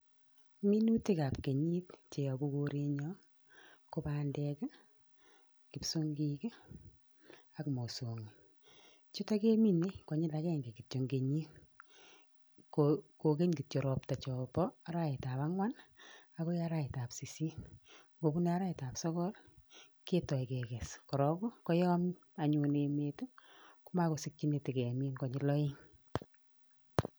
Minutikab ab kenyit cheyobu korenyoon Ii, ko bandeek ,kipsiongiik AK mosongik. Jutoon keminee konyil akenge kityok en kenyiit koken kityok ropta jombo araweet ab angwaan Ii, okoi araweet ab sisit ngobunee araweet ab sokol Ii, kitoiykee koyoon anyuun ,iin emeet Ii komokosikyiin itakemiin konyil oeng.